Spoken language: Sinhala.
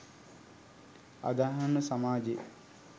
අදහන සමාජය